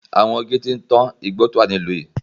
Àwọn igi ti ń tán igbó tí ó wà ní ìlú yìí.